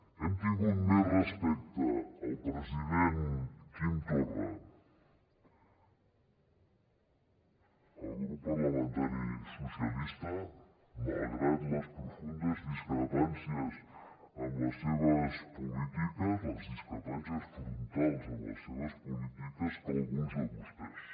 hem tingut més respecte al president quim torra el grup parlamentari socialistes malgrat les profundes discrepàncies amb les seves polítiques les discrepàncies frontals amb les seves polítiques que alguns de vostès